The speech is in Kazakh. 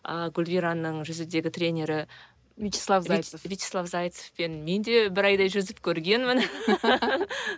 ы гүлвираның жүзудегі тренері вячеслав зайцев вячеслав зайцевпен мен де бір айдай жүзіп көргенмін